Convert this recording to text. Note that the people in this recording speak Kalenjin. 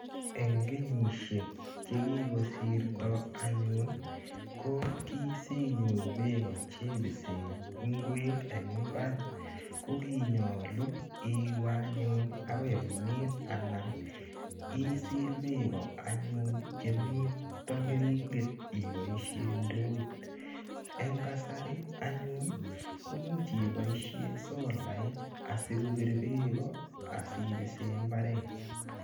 Eng kenyishek chekikosirto anyun ko kisinyoru beko chebise ngwek eng mbar ko konyolu iwe anyun akoi oinet anan isil beko anyun chemito keringet iboishe ndoit eng kasari anyun komuch iboishe solait asikobir beko asibise mbaret.